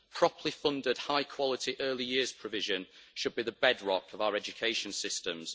Properly funded high quality early years provision should be the bedrock of our education systems.